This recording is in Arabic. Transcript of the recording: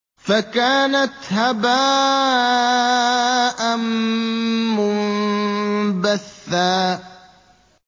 فَكَانَتْ هَبَاءً مُّنبَثًّا